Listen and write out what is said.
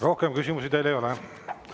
Rohkem küsimusi teile ei ole.